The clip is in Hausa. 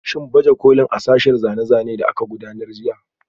Shin baje kolin a sashen zane-zane da aka gudanar jiya?